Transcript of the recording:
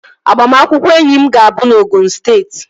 Agbamakwụkwọ enyi m ga-abụ na Osun steeti